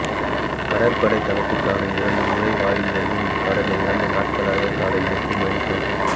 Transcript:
கடற்படைத் தளத்துக்கான இரண்டு நுழைவாயில்களிலும் கடந்த இரண்டு நாட்களாக காலை எட்டு மணிக்கும்